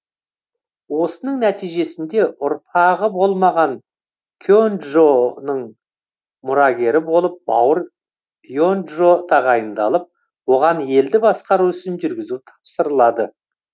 осының нәтижесінде ұрпағы болмаған кенджоның мұрагері болып бауыры енджо тағайындалып оған елді басқару ісін жүргізу тапсырылады